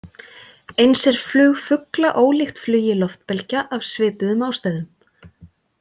Eins er flug fugla ólíkt flugi loftbelgja, af svipuðum ástæðum.